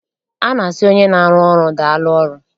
A na-asị onye na-arụ ọrụ, daalụ ọrụ.